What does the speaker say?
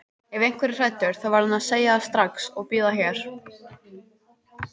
Ef einhver er hræddur þá verður hann að segja það strax og bíða hér.